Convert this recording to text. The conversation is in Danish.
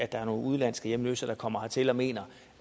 der er nogle udenlandske hjemløse der kommer hertil og mener